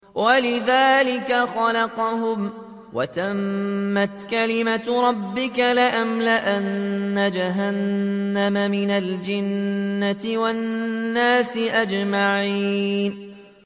إِلَّا مَن رَّحِمَ رَبُّكَ ۚ وَلِذَٰلِكَ خَلَقَهُمْ ۗ وَتَمَّتْ كَلِمَةُ رَبِّكَ لَأَمْلَأَنَّ جَهَنَّمَ مِنَ الْجِنَّةِ وَالنَّاسِ أَجْمَعِينَ